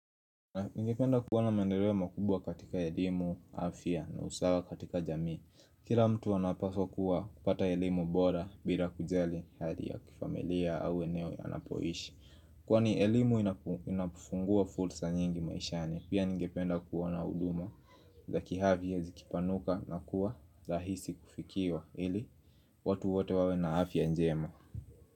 Ingependa kuona maendeleo makubwa katika elimu, afya na usawa katika jamii Kila mtu anapaswa kuwa kupata elimu bora bila kujali hali ya kifamilia au eneo anapoishi Kwani elimu inapofungua fursa nyingi maishani Pia ngependa kuona huduma za kiafya zikipanuka na kuwa tahisi kufikiwa ili watu wote wawe na afya njema.